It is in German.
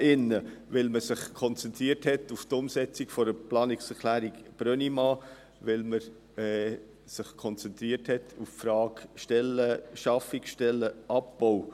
– Weil man sich auf die Umsetzung der Planungserklärung Brönnimann konzentriert hat und auf die Frage betreffend Stellenschaffung und Stellenabbau.